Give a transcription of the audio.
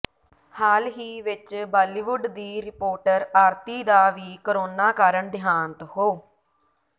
ਹਾਲ ਹੀ ਵਿੱਚ ਬਾਲੀਵੁੱਡ ਦੀ ਰਿਪੋਰਟਰ ਆਰਤੀ ਦਾ ਵੀ ਕੋਰੋਨਾ ਕਾਰਨ ਦਿਹਾਂਤ ਹੋ